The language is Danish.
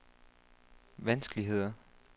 vanskeligheder